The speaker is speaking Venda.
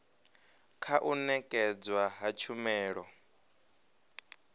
kha u nekedzwa ha tshumelo